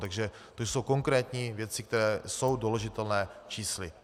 Takže to jsou konkrétní věci, které jsou doložitelné čísly.